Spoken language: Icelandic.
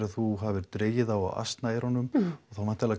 þú hafir dregið þá á asnaeyrunum þá væntanlega